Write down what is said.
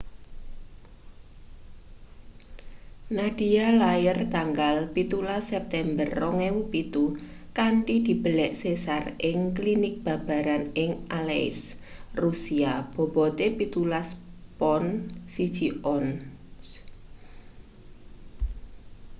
nadia lair tanggal 17 september 2007 kanthi dibelek sesar ing klinik babaran ing aleisk rusia bobote 17 pon 1 ons